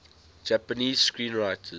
japanese screenwriters